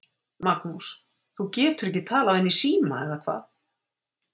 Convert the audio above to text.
Magnús: Þú getur ekki talað við hann í síma, eða hvað?